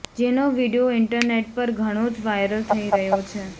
જેનો video internet પર ઘણો જ વાઇરલ થઈ રહ્યો છે